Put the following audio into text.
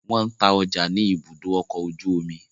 Wọ́n ń ta ọjà nì ìbùdó ọkọ ojú omi